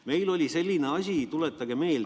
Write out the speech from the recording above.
Meil oli selline asi, tuletage meelde ...